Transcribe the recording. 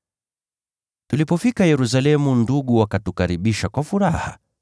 Tulipofika Yerusalemu ndugu wakatukaribisha kwa furaha.